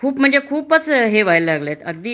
खूप म्हणजे खूपच हे व्हायला लागलेत अगदी